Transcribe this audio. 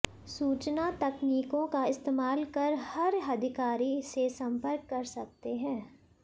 सूचना तकनीकों का इस्तेमाल कर हर अधिकारी से संपर्क कर सकते हैं